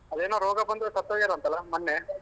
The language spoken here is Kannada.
ಅದೇನೋ ರೋಗ ಬಂದು ಸತ್ತೋಗ್ಯಾರಂತಲ್ಲಾ ಮೊನ್ನೆ?